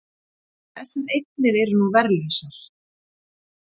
Þessar eignir eru nú verðlausar